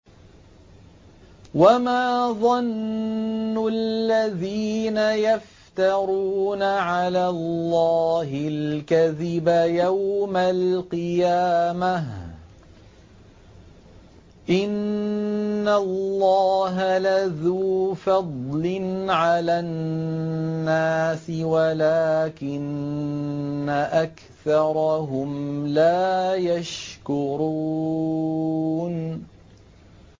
وَمَا ظَنُّ الَّذِينَ يَفْتَرُونَ عَلَى اللَّهِ الْكَذِبَ يَوْمَ الْقِيَامَةِ ۗ إِنَّ اللَّهَ لَذُو فَضْلٍ عَلَى النَّاسِ وَلَٰكِنَّ أَكْثَرَهُمْ لَا يَشْكُرُونَ